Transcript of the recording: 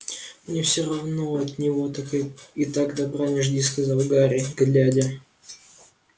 мне всё равно от него так и так добра не жди сказал гарри глядя